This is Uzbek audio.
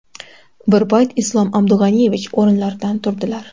Bir payt Islom Abdug‘aniyevich o‘rinlaridan turdilar.